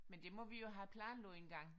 Men det må vi jo have planlagt engang